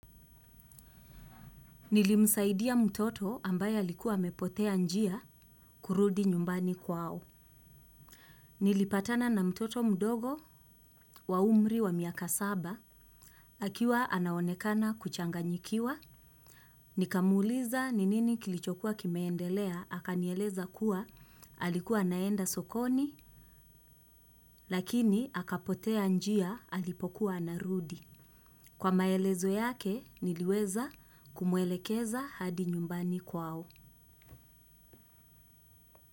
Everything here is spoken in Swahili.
Nilimsaidia mtoto ambaye alikuwa amepotea njia kurudi nyumbani kwao. Nilipatana na mtoto mdogo wa umri wa miaka saba. Akiwa anaonekana kuchanganyikiwa. Nikamuuliza ni nini kilichokua kimeendelea, akanieleza kuwa alikuwa anaenda sokoni, lakini akapotea njia alipokuwa anarudi. Kwa maelezo yake, niliweza kumwelekeza hadi nyumbani kwao.